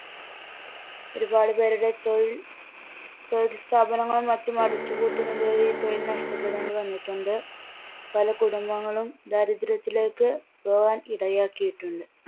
ഒരുപാടുപേരുടെ തൊഴിൽ തൊഴിൽസ്ഥാപനങ്ങളും മറ്റും അടച്ചുപൂട്ടുന്നത് വഴി തൊഴിൽ നഷ്ടപ്പെടേണ്ടി വന്നിട്ടുണ്ട്. പല കുടുംബങ്ങളും ദാരിദ്ര്യത്തിലേക്ക് പോവാൻ ഇടയാക്കിയിട്ടുണ്ട്.